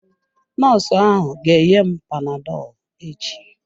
Nọọsụ ahụ ga-enye m panadọlụ echi.